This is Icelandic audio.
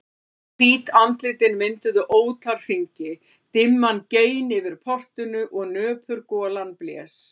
Hvít andlitin mynduðu ótal hringi, dimman gein yfir portinu og nöpur golan blés.